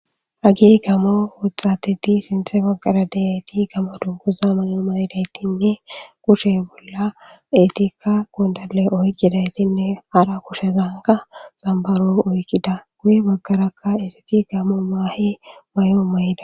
Hagi gamo wuthatidi sinthe baggara deyati gamo dunguza may'o mayidaytinne kushe bolla eetikka gundale oykidaytinne hara kushezanka xambaro oykkida guye baggarakka isiti gamo maahi may'o mayida.